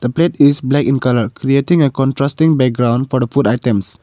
plate is black in colour creating a contrasting background for the food items.